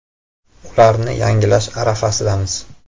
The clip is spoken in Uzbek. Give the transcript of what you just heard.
Ularni yangilash arafasidamiz.